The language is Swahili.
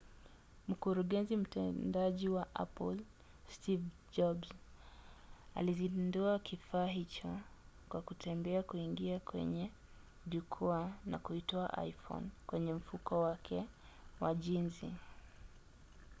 mkurugenzi mtendaji wa apple steve jobs alizindua kifaa hicho kwa kutembea kuingia kwenye jukwaa na kuitoa iphone kwenye mfuko wake wa jinzi